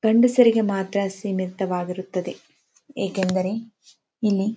ಗಂಡಸರಿಗೆ ಮಾತ್ರ ಸೀಮಿತವಾಗಿರುತ್ತದೆ ಯಾಕಂದ್ರೆ ಇಲ್ಲಿ--